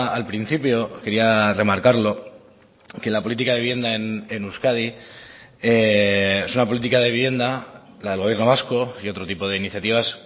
al principio quería remarcarlo que la política de vivienda en euskadi es una política de vivienda la del gobierno vasco y otro tipo de iniciativas